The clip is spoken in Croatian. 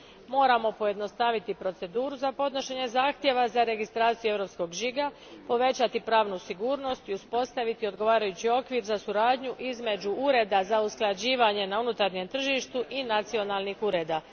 Moramo pojednostaviti proceduru za podnošenje zahtjeva za registraciju europskog žiga, povećati pravnu sigurnost i uspostaviti odgovarajući okvir za suradnju između ureda za usklađivanje na unutarnjem tržištu i nacionalnih ureda.